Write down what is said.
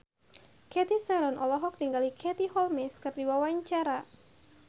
Cathy Sharon olohok ningali Katie Holmes keur diwawancara